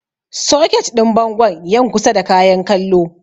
Soket ɗin bangon yan kusa da Kayan kallon.